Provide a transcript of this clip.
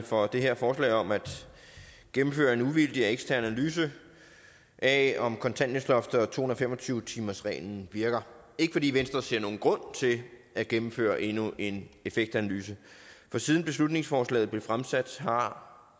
for det her forslag om at gennemføre en uvildig og ekstern analyse af om kontanthjælpsloftet og to hundrede og fem og tyve timersreglen virker det ikke fordi venstre ser nogen grund til at gennemføre endnu en effektanalyse for siden beslutningsforslaget blev fremsat har